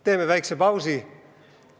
Teeme väikse pausi!